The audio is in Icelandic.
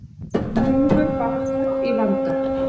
Hnúfubakur í vanda